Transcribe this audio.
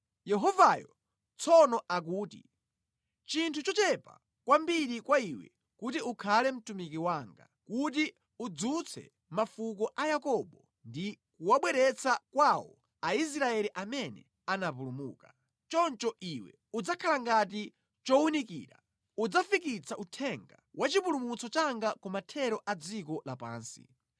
Yehovayo tsono akuti, “Nʼchinthu chochepa kwambiri kwa iwe kuti ukhale mtumiki wanga, kuti udzutse mafuko a Yakobo ndi kuwabweretsa kwawo Aisraeli amene anapulumuka. Choncho iwe udzakhala ngati chowunikira, udzafikitsa uthenga wa chipulumutso changa ku mathero a dziko lapansi.”